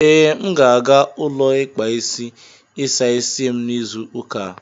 Ee, M ga-aga ụlọ ikpa isi ịsa isi m n'izu ụka a.